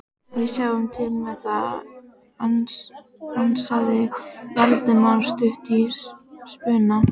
Við sjáum til með það- ansaði Valdimar stuttur í spuna.